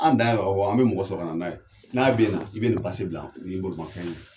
An dan ye ka fɔ an be mɔgɔ sɔrɔ ka na n'a ye. N'a bɛ na, i be nin bila n'i bolofɛn ye